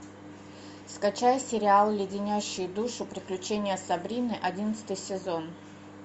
скачай сериал леденящие душу приключения сабрины одиннадцатый сезон